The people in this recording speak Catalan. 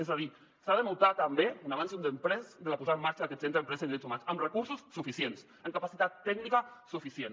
és a dir s’ha de notar també un abans i un després de la posada en marxa d’aquest centre d’empresa i drets humans amb recursos suficients amb capacitat tècnica suficient